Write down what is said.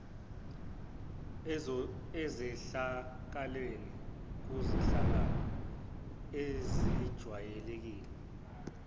ezehlakalweni kuzehlakalo ezijwayelekile